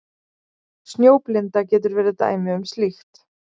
Snjóblinda getur verið dæmi um slíkt.